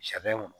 Sɛgɛn kɔnɔ